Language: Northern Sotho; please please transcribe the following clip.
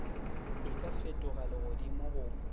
e ka fetoga legodimo go